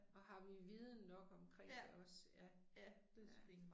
Og har vi viden nok omkring det også ja, ja